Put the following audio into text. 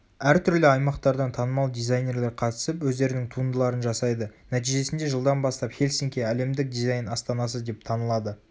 әртүрлі аймақтардан танымал дизайнерлер қатысып өздерінің туындыларын жасайды нәтижесінде жылдан бастап хельсинки әлемдік дизайн астанасы деп танылады